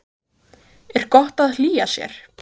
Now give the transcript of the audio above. Þórhildur: Er gott að hlýja sér?